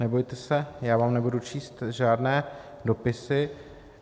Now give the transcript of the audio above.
Nebojte se, já vám nebudu číst žádné dopisy.